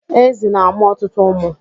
Ezi na-amụ ọtụtụ ụmụ.